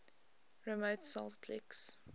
remote salt licks